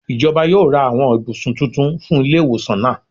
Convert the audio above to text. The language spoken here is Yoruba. Ijọba yoo ra awọn ibusun titun fun ile-iwosan naa.